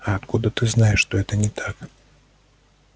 а откуда ты знаешь что это не так